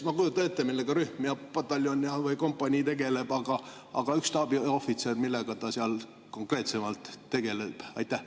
Ma kujutan ette, millega rühm ja pataljon või kompanii tegeleb, aga millega üks staabiohvitser seal konkreetsemalt tegeleb?